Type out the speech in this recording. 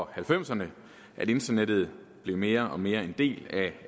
halvfemserne at internettet mere og mere blev en del af